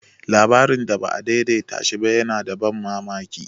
Labarin da ba a daidaita shi ba yana da ban mamaki.